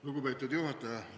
Lugupeetud juhataja!